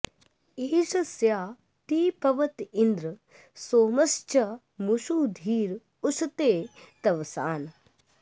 एष स्य ते पवत इन्द्र सोमश्चमूषु धीर उशते तवस्वान्